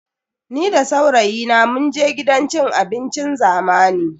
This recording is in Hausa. Ni da saurayina munje gidan cin abincin zamani.